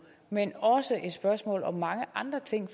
men også et spørgsmål om mange andre ting